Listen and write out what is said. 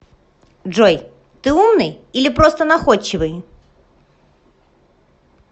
джой ты умный или просто находчивый